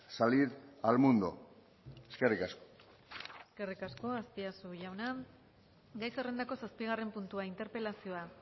salir al mundo eskerrik asko eskerrik asko azpiazu jauna gai zerrendako zazpigarren puntua interpelazioa